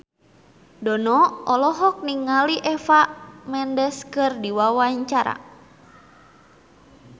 Dono olohok ningali Eva Mendes keur diwawancara